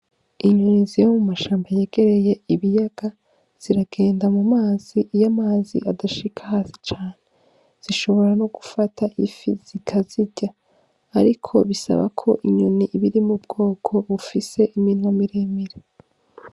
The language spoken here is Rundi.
Inyoni ziba mu mashamba yegereye ibiyaga ziragenda mu mazi, iyo amazi adashika hafi cane zishobora no gufata ifi zikazirya ariko bisabo ko inyoni iba iri mu bwoko bufise iminwa mire mire.